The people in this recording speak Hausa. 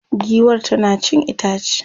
giwar tana cin itace